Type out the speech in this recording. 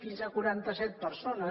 fins a quaranta set persones